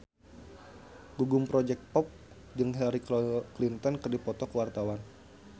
Gugum Project Pop jeung Hillary Clinton keur dipoto ku wartawan